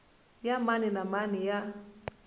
ya mani na mani ya